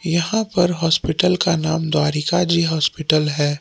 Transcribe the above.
यहां पर हॉस्पिटल का नाम द्वारिका जी हॉस्पिटल है।